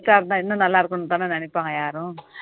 இன்னும் நல்லா இருக்கனும்னு தானே நினைப்பாங்க யாரும்